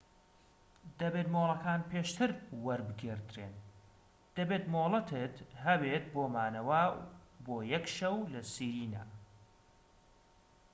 دەبێت مۆڵەتەکان پێشتر وەربگیردرێن دەبێت مۆڵەتت هەبێت بۆ مانەوە بۆ یەك شەو لە سیرێنا